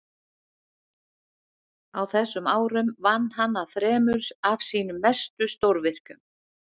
á þessum árum vann hann að þremur af sínum mestu stórvirkjum